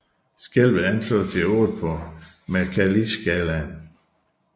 Skælvet anslås til 8 på Mercalliskalaen